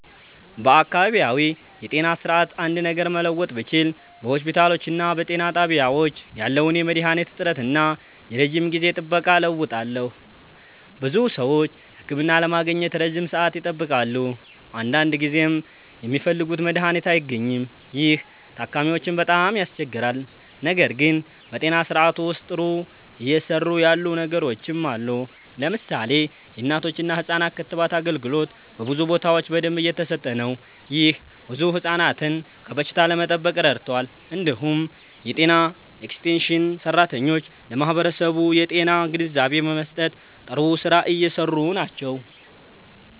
በአካባቢያዊ የጤና ስርዓት አንድ ነገር መለወጥ ብችል በሆስፒታሎችና በጤና ጣቢያዎች ያለውን የመድሃኒት እጥረት እና የረጅም ጊዜ ጥበቃ እለውጣለሁ። ብዙ ሰዎች ህክምና ለማግኘት ረጅም ሰዓት ይጠብቃሉ፣ አንዳንድ ጊዜም የሚፈልጉት መድሃኒት አይገኝም። ይህ ታካሚዎችን በጣም ያስቸግራል። ነገር ግን በጤና ስርዓቱ ውስጥ ጥሩ እየሰሩ ያሉ ነገሮችም አሉ። ለምሳሌ የእናቶችና ህፃናት ክትባት አገልግሎት በብዙ ቦታዎች በደንብ እየተሰጠ ነው። ይህ ብዙ ህፃናትን ከበሽታ ለመጠበቅ ረድቷል። እንዲሁም የጤና ኤክስቴንሽን ሰራተኞች ለማህበረሰቡ የጤና ግንዛቤ በመስጠት ጥሩ ስራ እየሰሩ ናቸው።